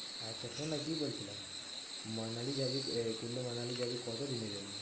আচ্ছা শোননা কি বলছিলাম? মানালি যাবি তো এ কুল্লু মানালি যাবি কত দিনের জন্য?